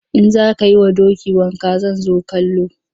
In za ka yi wa doki wanka zan zo kallo.